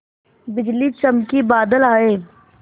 बिजली चमकी बादल आए